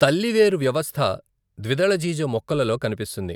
తల్లి వేరు వ్యవస్థ ద్విదళజీజ మొక్కలలో కనిపిస్తుంది.